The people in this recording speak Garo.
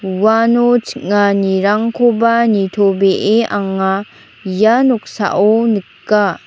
uano ching·anirangkoba nitobee anga ia noksao nika.